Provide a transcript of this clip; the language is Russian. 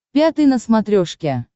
пятый на смотрешке